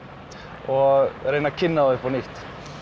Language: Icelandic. og reyna að kynna þá upp á nýtt